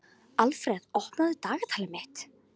Alfreð, opnaðu dagatalið mitt.